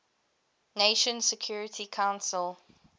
nations security council